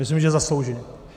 Myslím, že zasloužím.